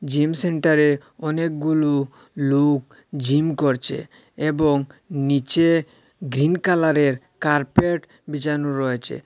Gym সেন্টারে অনেকগুলো লোক জিম করছে এবং নিচে গ্রীন কালারের কার্পেট বিছানো রয়ছে।